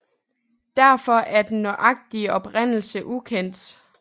Derfor er den nøjagtige oprindelse ukendt